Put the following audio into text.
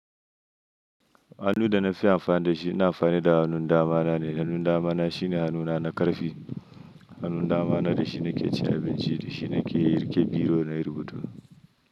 Hannu da na fi amfani da shi, na amfani da hannun dama na ne. Hannun dama na shine hannuna na ƙarfe. Hannun dama na da shi na ke cin abinci da shi na ke riƙe biro na rubutu.